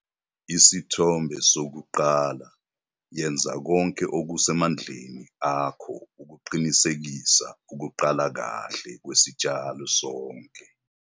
Isithombe 1- Yenza konke okusemandleni akho ukuqinisekisa ukuqala kahle kwesitshalo sonke.